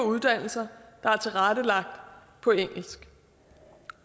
uddannelser der er tilrettelagt på engelsk